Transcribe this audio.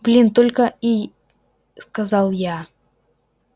блин только и сказал я